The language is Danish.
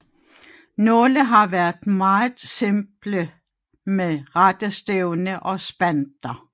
Nogle har været meget simple med rette stævne og spanter